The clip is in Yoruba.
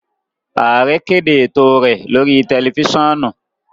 Aare kede eto rẹ lori tẹlifisiọnu.